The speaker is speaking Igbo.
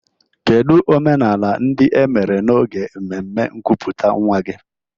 Kedu omenala ndị e mere n'oge mmemme nkuputa nwa gị?